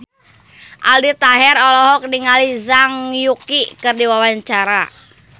Aldi Taher olohok ningali Zhang Yuqi keur diwawancara